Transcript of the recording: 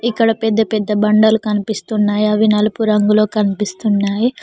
ఇక్కడ పెద్ద పెద్ద బండలు కనిపిస్తున్నాయి అవి నలుపు రంగులో కనిపిస్తున్నాయి.